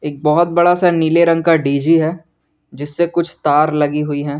एक बहुत बड़ा सा नीले रंग का डी_जी है जिससे कुछ तार लगी हुई है।